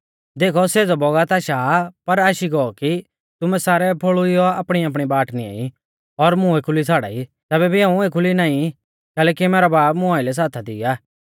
देखौ सेज़ौ बौगत आशा आ पर आशी गौ कि तुमै सारै फोल़ुइयौ आपणीआपणी बाट निंआई और मुं एखुली छ़ाड़ाई तैबै भी हाऊं एखुली नाईं कैलैकि मैरौ बाब मुं आइलै साथा दी आ